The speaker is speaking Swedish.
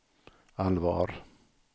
allvar